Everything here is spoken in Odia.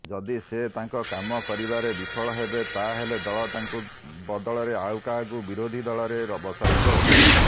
ଯଦି ସେ ତାଙ୍କ କାମ କରିବାରେ ବିଫଳ ହେବେ ତାହାଲେ ଦଳ ତାଙ୍କ ବଦଳରେ ଆଉକାହାକୁ ବିରୋଧିଦଳରେ ବସାଇବ